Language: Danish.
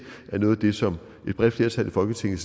er noget af det som et bredt flertal i folketinget